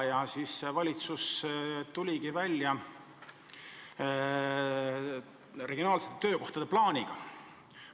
Ja siis valitsus tuligi välja regionaalsete töökohtade plaaniga.